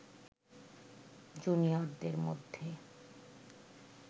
জুনিয়রদের মধ্যে